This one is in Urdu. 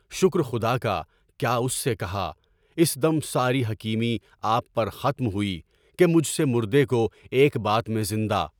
شکر خدا کا کیا، اُس سے کہا، اِس دم ساری حکیمی آپ پر ختم ہوئی کہ مجھ سے مُردے کو ایک بات میں زندہ